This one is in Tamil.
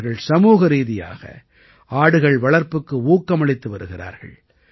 இவர்கள் சமூகரீதியாக ஆடுகள் வளர்ப்புக்கு ஊக்கமளித்து வருகிறார்கள்